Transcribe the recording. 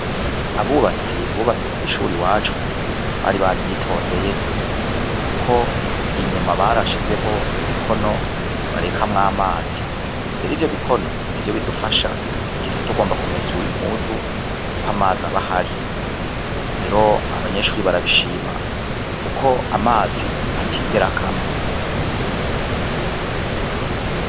Abubatsi bubatse kw'ishure iwacu bari baryitondeye kuko inyuma barashizeho ibikono barekamwo amazi rero ivyo bikono nivyo bidufasha igihe tuba tugomba kumesura impuzu kuko amazi aba ahari, rero abanyeshure barabishima kuko amazi atigera akama.